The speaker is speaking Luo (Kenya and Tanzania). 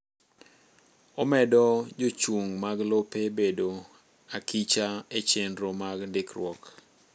Omedo jochung mag lope bedo akicha echenro mag ndikruok.